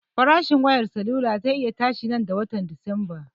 Farashin wayar salula ze iya tashi nan da watan dismba